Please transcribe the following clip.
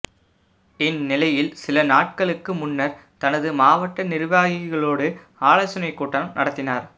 இந்நிலையில் சில நாட்களுக்கு முன்னர் தனது மாவட்ட நிர்வாகிகளோடு ஆலோசனை கூட்டம் நடத்தினர்